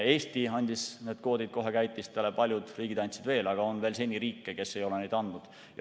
Eesti andis need kvoodid kohe käitistele, paljud riigid andsid veel, aga on riike, kes ei ole seni veel andnud.